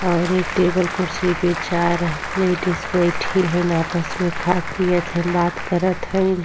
और एक टेबल कुर्सी पे चार ह लेडीज बैठी हइन। आपस में खात पियत हइन बात करत हइन।